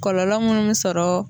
Kɔlɔlɔ munnu bɛ sɔrɔ